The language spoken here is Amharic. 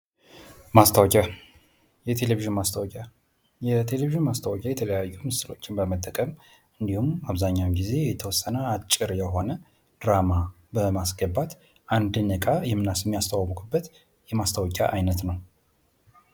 ማስታወቂያ የቴሌቪዥን ማስታወቂያዎች፤ የቴሌቪዥን ማስታወቂያ የተለያዩ ምስሎችን በመጠቀም እንዲሁም አብዛኛውን ጊዜ የተወሰነ አጭር የሆነ ድራማ በማስገባት አንድ ዕቃ የሚያስተዋወቁበት የማስታወቂያ አይነት ነው።